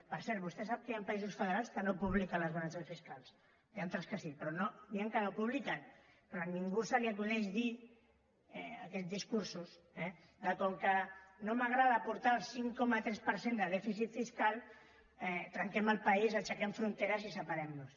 per cert vostè sap que hi ha països federals que no publiquen les balances fiscals n’hi ha altres que sí però n’hi ha que no ho publiquen però a ningú se li acudeix dir aquests discursos que com que no m’agrada portar el cinc coma tres de dèficit fiscal trenquem el país aixequem fronteres i separem nos